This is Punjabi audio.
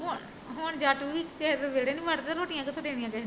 ਹੁਣ ਜੱਟ ਵੀ ਕਿਸੇ ਦੇ ਵੇਹੜੇ ਨੀ ਵੜਦੇ ਰੋਟੀਆ ਕਿਥੋਂ ਦੇਣਗੇ